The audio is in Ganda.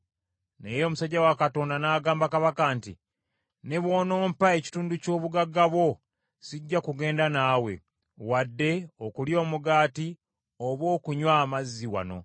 Naye omusajja wa Katonda n’agamba kabaka nti, “Ne bw’onompa ekitundu ky’obugagga bwo, sijja kugenda naawe, wadde okulya omugaati oba okunywa amazzi wano.